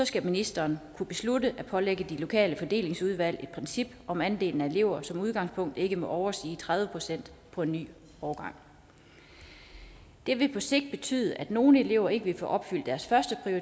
skal ministeren kunne beslutte at pålægge de lokale fordelingsudvalg at bruge princip om at andelen af elever som udgangspunkt ikke må overstige tredive procent på en ny årgang det vil på sigt betyde at nogle elever ikke vil få opfyldt deres først